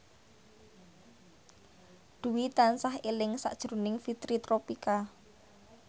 Dwi tansah eling sakjroning Fitri Tropika